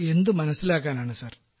എന്ത് മനസ്സിലാക്കാനാണ് സർ